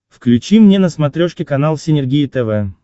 включи мне на смотрешке канал синергия тв